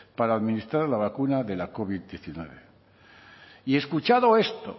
para administrar la vacuna de la covid hemeretzi y escuchado esto